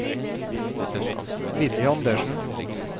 Villy Andersen